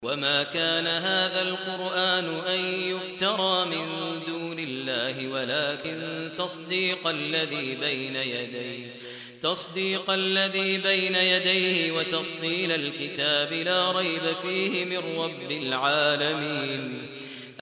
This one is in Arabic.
وَمَا كَانَ هَٰذَا الْقُرْآنُ أَن يُفْتَرَىٰ مِن دُونِ اللَّهِ وَلَٰكِن تَصْدِيقَ الَّذِي بَيْنَ يَدَيْهِ وَتَفْصِيلَ الْكِتَابِ لَا رَيْبَ فِيهِ مِن رَّبِّ الْعَالَمِينَ